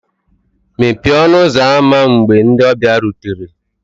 Mepee ọnụ ụzọ ámá mgbe ndị ọbịa rutere